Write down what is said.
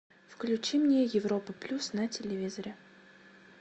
включи мне европа плюс на телевизоре